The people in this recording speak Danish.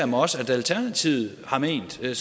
mig også at alternativet har ment så det